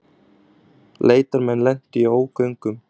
Leitarmenn lentu í ógöngum